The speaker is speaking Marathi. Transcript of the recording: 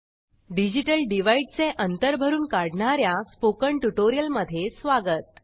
डिजिटल डिव्हाइड चे अंतर भरून काढणार्या स्पोकन ट्युटोरियलमध्ये स्वागत